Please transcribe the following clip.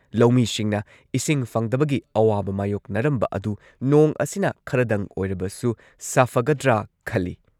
ꯂꯧꯃꯤꯁꯤꯡꯅ ꯏꯁꯤꯡ ꯐꯪꯗꯕꯒꯤ ꯑꯋꯥꯕ ꯃꯥꯌꯣꯛꯅꯔꯝꯕ ꯑꯗꯨ ꯅꯣꯡ ꯑꯁꯤꯅ ꯈꯔꯗꯪ ꯑꯣꯏꯔꯕꯁꯨ ꯁꯥꯐꯒꯗ꯭ꯔꯥ ꯈꯜꯂꯤ ꯫